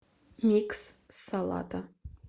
микс салата